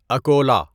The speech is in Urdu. اکولہ